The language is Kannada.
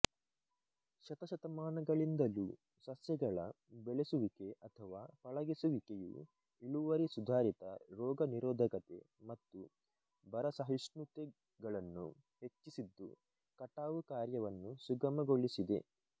ಶತಶತಮಾನಗಳಿಂದಲೂ ಸಸ್ಯಗಳ ಬೆಳೆಸುವಿಕೆ ಅಥವಾ ಪಳಗಿಸುವಿಕೆಯು ಇಳುವರಿ ಸುಧಾರಿತ ರೋಗ ನಿರೋಧಕತೆ ಮತ್ತು ಬರಸಹಿಷ್ಣುತೆಗಳನ್ನು ಹೆಚ್ಚಿಸಿದ್ದು ಕಟಾವು ಕಾರ್ಯವನ್ನು ಸುಗಮಗೊಳಿಸಿದೆ